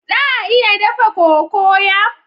Za a iya dafa cocoyam?